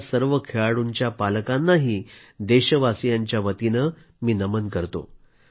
अशा सर्व खेळाडूंच्या पालकांनाही देशवासियांच्यावतीने नमन करतो